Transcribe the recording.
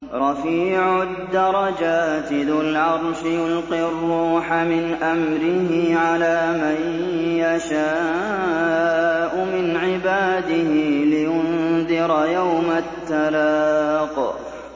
رَفِيعُ الدَّرَجَاتِ ذُو الْعَرْشِ يُلْقِي الرُّوحَ مِنْ أَمْرِهِ عَلَىٰ مَن يَشَاءُ مِنْ عِبَادِهِ لِيُنذِرَ يَوْمَ التَّلَاقِ